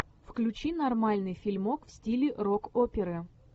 включи нормальный фильмок в стиле рок оперы